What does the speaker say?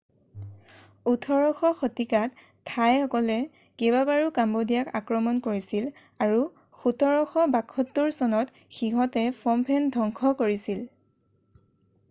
18শ শতিকাত থাইসকলে কেইবাবাৰো কম্বোডিয়াক আক্ৰমণ কৰিছিল আৰু 1772 চনত সিহঁতে ফম ফেন ধংশ কৰিছিল